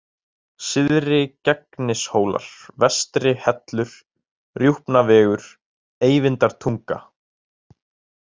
Syðri-Gegnishólar, Vestri-Hellur, Rjúpnavegur, Eyvindartunga